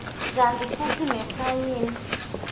kantsi futsi nesayini